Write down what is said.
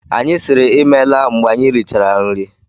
Anyị siiri ịmela mgbe anyị richara nri.